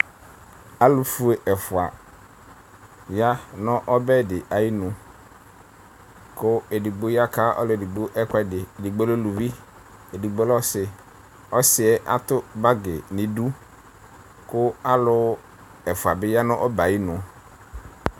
Alʋfue ɛfʋa ya nʋ ɔbɛ dɩ ayinu kʋ edigbo yaka ɔlʋ edigbo ɛkʋɛdɩ, edigbo lɛ uluvi, edigbo lɛ ɔsɩ; ɔsɩ yɛ atʋ bagɩ nʋ idu kʋ alʋ ɛfʋa bɩ ya nʋ ɔbɛ yɛ ayinu